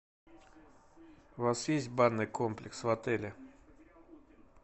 у вас есть банный комплекс в отеле